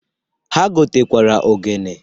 Ha gotakwara ogene.